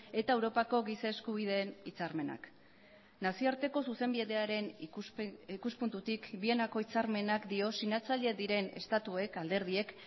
eta europako giza eskubideen hitzarmenak nazioarteko zuzenbidearen ikuspuntutik vienako hitzarmenak dio sinatzaileak diren estatuek alderdiek